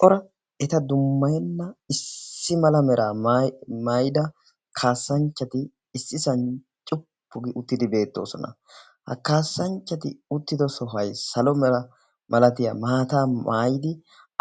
cora eta dummayenna issi mala mera maida kaassanchchati issi sani cuppugi uttidi beettoosona. ha kaassanchchati uttido sohay salo mera malatiyaa maataa maayidi